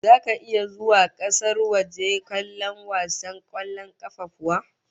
Zaka iya zuwa kasar waje kallon wasan kwallon kafa kuwa?